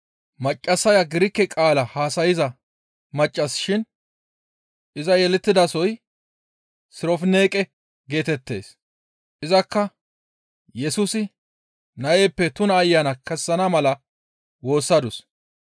Maccassaya Girike qaala haasayza maccas shin iza yelettidasoy Sirofinqe geetettees. Izakka Yesusi nayppe tuna ayana kessana mala woossadus.